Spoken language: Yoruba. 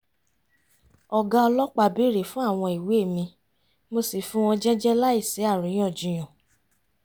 ọ̀gá ọlọ́pàá bèrè fún àwọn ìwé mi mo sì fún wọn jẹ́jẹ́ láì sí àríyànjiyàn